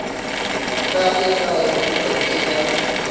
ta le kaya kumbe eka